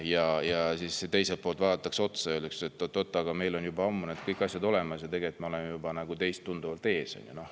Aga siis teiselt poolt vaadatakse otsa ja öeldakse, et oot-oot, meil on juba ammu kõik need asjad olemas ja me oleme teist juba tunduvalt ees.